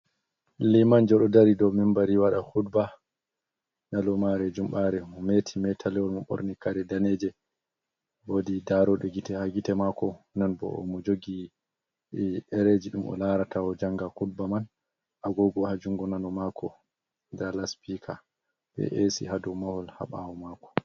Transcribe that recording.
Liman jo ɗo dari dow membari waɗa kudba nyalomare jummɓare. Mometi meta lewol moɓorni kare daneje, wodi daroɗɗo gite ha gite mako, non bo o mo jogi ɗereji ɗum o larata o janga kudba man. Agogo haa jungo nano mako, nda laspika be e'si hado mahol habawo mako.